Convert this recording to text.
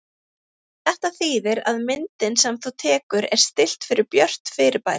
Þetta þýðir að myndin sem þú tekur er stillt fyrir björt fyrirbæri.